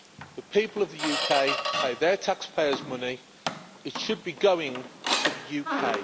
The people of the UK pay their taxpayers money it should be going to the UK.